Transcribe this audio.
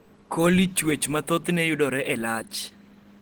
coli chwech ma thothne yudore e lach